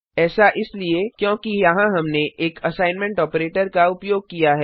ऐसा इसलिए क्योंकि यहाँ हमने एक असाइनमेंट आपरेटर का उपयोग किया है